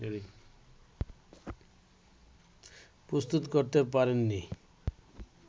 প্রস্তুত করতে পারেন নি